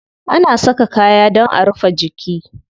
Ana saka kaya dan a rufe jiki.